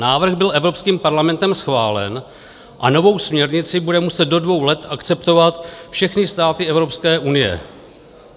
Návrh byl evropským parlamentem schválen a novou směrnici budou muset do dvou let akceptovat všechny státy Evropské unie.